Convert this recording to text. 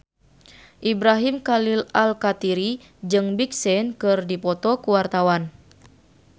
Ibrahim Khalil Alkatiri jeung Big Sean keur dipoto ku wartawan